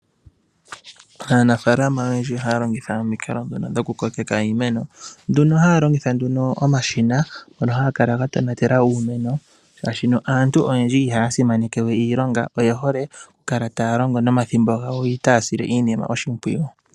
Aanafaalama oyendji oha ya longitha omikalo dhono dho ku kokeka iimeno, nduno ha ya longitha omashina ngono ha ga kala ga tonatela uumeno, shashi aantu oyendji iha ya simaneke we iilonga, oye hole oku kala ta ya longo nomathimbo gawo, yo ita ya sile iinima oshimpwiyu.